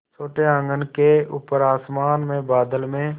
छोटे आँगन के ऊपर आसमान में बादल में